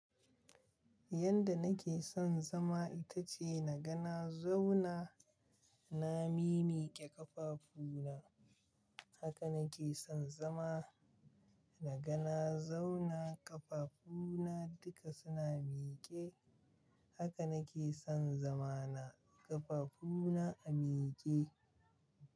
Yanda nake son zama ita ce na ga na zauna, na mi mike ƙafafuna. Haka nake son zama, na ga na zauna ƙafafuna duka suna mike. Haka nake son zama na, ƙafafuna a mike.